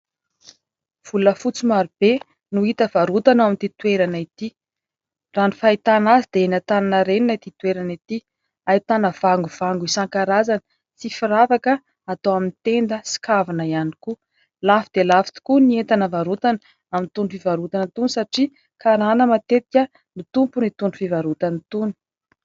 Volafotsy marobe no hita varotana ao amin'ity toerana ity. Raha ny fahitana azy dia eny Antaninarenina ity toerana ity. Ahitana vangovango isan-karazany sy firavaka atao amin'ny tenda sy kavina ihany koa. Lafo dia lafo tokoa ny entana varotana amin'itony fivarotana itony satria karana matetika no tompon'itony fivarotana itony.